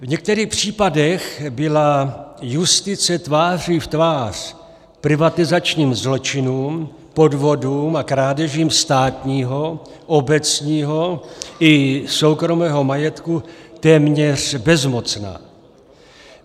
V některých případech byla justice tváří v tvář privatizačním zločinům, podvodům a krádežím státního, obecního i soukromého majetku téměř bezmocná.